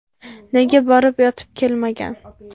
Nega borib yotib kelmagan?”.